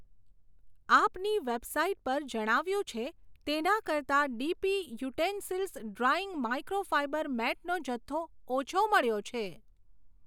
આપની વેબસાઈટ પર જણાવ્યું છે તેનાં કરતાં ડીપી યુટેન્સીલ્સ ડ્રાયિંગ માઈક્રોફાઈબર મેટનો જથ્થો ઓછો મળ્યો છે.